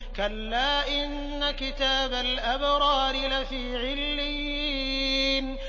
كَلَّا إِنَّ كِتَابَ الْأَبْرَارِ لَفِي عِلِّيِّينَ